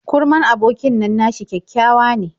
Kurman abokin nan nashi kyakkyawa ne.